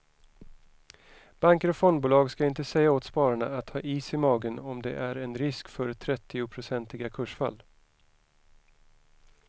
Banker och fondbolag ska inte säga åt spararna att ha is i magen om det är en risk för trettionprocentiga kursfall.